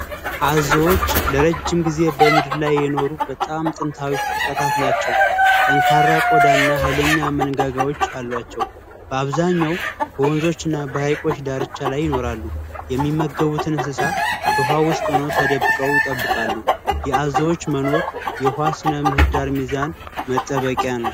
አዞዎች ለረጅም ጊዜ በምድር ላይ የኖሩ በጣም ጥንታዊ ፍጥረታት ናቸው። ጠንካራ ቆዳ እና ኃይለኛ መንጋጋዎች አሏቸው። በአብዛኛው በወንዞችና በሀይቆች ዳርቻ ላይ ይኖራሉ። የሚመገቡትን እንስሳ በውሃ ውስጥ ሆነው ተደብቀው ይጠብቃሉ፤ የአዞዎች መኖር የውኃ ስነ ምህዳር ሚዛን መጠበቂያ ነው።